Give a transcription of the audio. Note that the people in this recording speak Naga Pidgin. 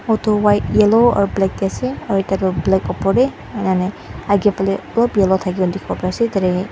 Auto white yellow aru black ase aru tar te black opar te ake pele olop yellow thaki laka thikibo pari ase .